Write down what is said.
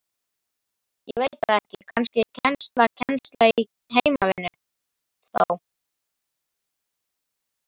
Ég veit það ekki, kannski kennsla Kennsla í heimavinnu þá?